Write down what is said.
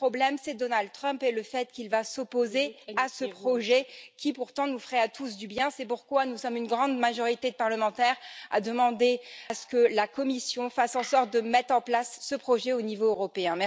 Le problème, c'est Donald Trump et le fait qu'il va s'opposer à ce projet qui, pourtant, nous ferait du bien à tous. C'est pourquoi nous sommes une grande majorité de parlementaires à demander que la Commission fasse en sorte de mettre en place ce projet au niveau européen.